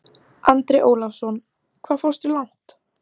Andri Ólafsson: Hvað fórstu langt?